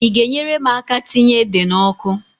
I ga-enyere m aka tinye ede n'ọkụ?